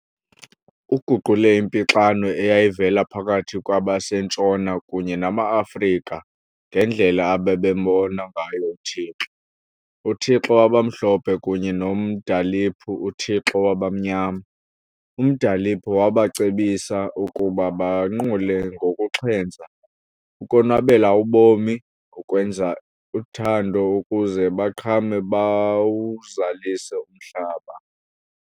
Uguqule impixano eyayivela phakathi kwabaseNtshona kunye namaAfrika ngendlela ababembona ngayo uThixo, uthixo wabamhlophe kunye noMdaliphu uthixo wabanyama. UMdaliphu wabacebisa ukuba banqule ngokuxhentsa, ukonwabela ubomi, ukwenza uthando ukuze baqhame bawuzalise umhlaba.